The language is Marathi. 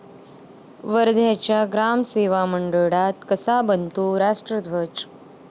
वर्ध्याच्या ग्रामसेवा मंडळात कसा बनतो राष्ट्रध्वज?